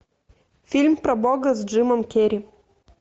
фильм про бога с джимом керри